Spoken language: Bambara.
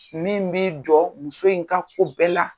Min b'i jɔ muso in ka ko bɛɛ la.